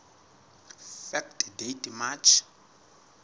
fact date march